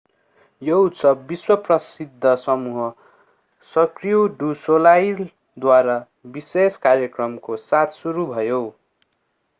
यो उत्सव विश्व-प्रसिद्ध समूह सर्क्यू डु सोलाईलद्वारा विशेष कार्यक्रमको साथ सुरु भयो